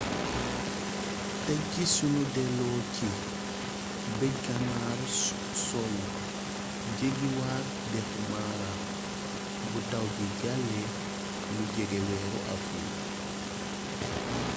tek ci sunu delloo ci bëj-ganaaru soowu jeggiwaat dexu mara bu taw bi jàllee lu jege weeru awril